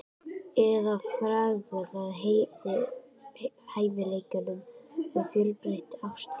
Eða fargað hæfileikanum með of fjölbreyttu ástalífi?